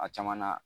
A caman na